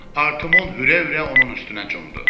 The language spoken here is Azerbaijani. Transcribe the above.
Artımon hürə-hürə onun üstünə cundu.